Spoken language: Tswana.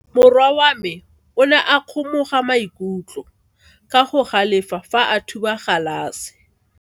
Morwa wa me o ne a kgomoga maikutlo ka go galefa fa a thuba galase.